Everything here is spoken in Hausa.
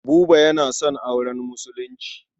Buba yana son auren Musulunci.